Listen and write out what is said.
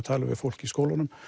tala við fólk í skólunum